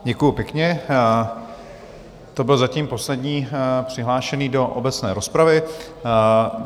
Děkuju pěkně, to byl zatím poslední přihlášený do obecné rozpravy.